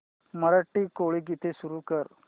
मराठी कोळी गीते सुरू कर